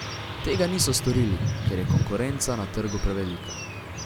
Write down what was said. Tega niso storili, ker je konkurenca na trgu prevelika.